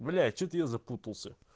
блять что-то я запутался